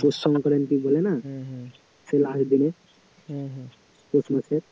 পৌষ সংক্রান্তি বলে না সেই last দিনে হম হম পৌষ মাসের